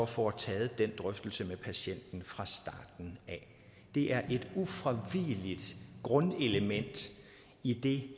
få taget den drøftelse med patienten fra starten af det er et ufravigeligt grundelement i det